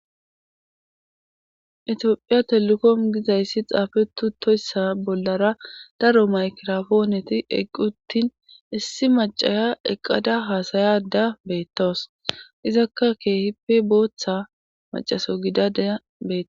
tophiya telekom gizayssi xaafetu toyssa bollara daro maykirafooneti eqquttin issi macaya eqqada haasayada beettoos izakka keehippe booththa macaso gidadeya beet